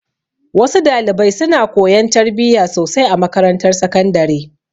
Wa su dalibai suna koyan tarbiya sosai a makarantar sakandare.